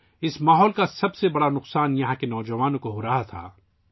اس قسم کے ماحول کا سب سے بڑا نقصان ، یہاں کے نوجوانوں کو ہو رہا تھا